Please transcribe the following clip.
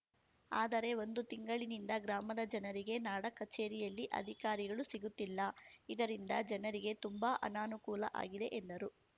ಆದರೆ ಒಂದು ತಿಂಗಳಿನಿಂದ ಗ್ರಾಮದ ಜನರಿಗೆ ನಾಡ ಕಚೇರಿಯಲ್ಲಿ ಅಧಿಕಾರಿಗಳು ಸಿಗುತ್ತಿಲ್ಲ ಇದರಿಂದ ಜನರಿಗೆ ತುಂಬಾ ಅನಾನುಕೂಲ ಆಗಿದೆ ಎಂದರು